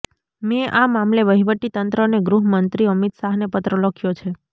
મેં આ મામલે વહીવટી તંત્ર અને ગૃહમંત્રી અમિત શાહને પત્ર લખ્યો છે